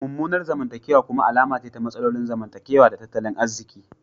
Mummunan zamantakewa kuma alama ce ta matsalolin zamantakewa da tattalin arziki.